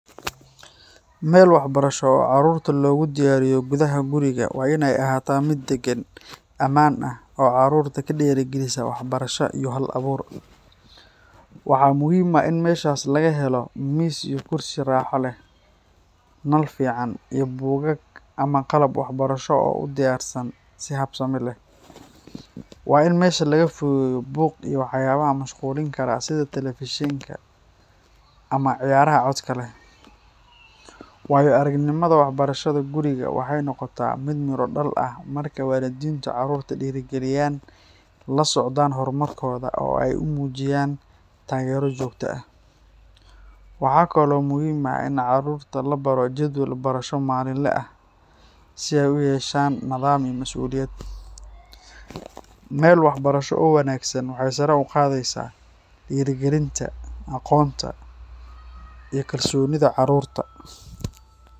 Meel waxbarasho oo carruurta loogu diyaariyo gudaha guriga waa in ay ahaataa mid deggan, ammaan ah, oo carruurta ku dhiirrigelisa waxbarasho iyo hal-abuur. Waxaa muhiim ah in meeshaas laga helo miis iyo kursi raaxo leh, nal fiican, iyo buugaag ama qalab waxbarasho oo u diyaarsan si habsami leh. Waa in meesha laga fogeeyo buuq iyo waxyaabaha mashquulin kara sida taleefishinka ama ciyaaraha codka leh. Waayo-aragnimada barashada guriga waxay noqotaa mid miro dhal ah marka waalidiintu carruurta dhiirrigeliyaan, la socdaan horumarkooda, oo ay u muujiyaan taageero joogto ah. Waxaa kaloo muhiim ah in carruurta la baro jadwal barasho maalinle ah, si ay u yeeshaan nidaam iyo mas’uuliyad. Meel waxbarasho oo wanaagsan waxay sare u qaadaysaa dhiirigelinta, aqoonta, iyo kalsoonida carruurta.